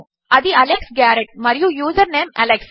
అది Alex Garrett మరియు username Alex